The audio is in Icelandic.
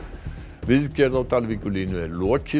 viðgerð á Dalvíkurlínu er lokið